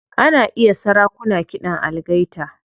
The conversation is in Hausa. Ana iya sarakuna kiɗan algaita.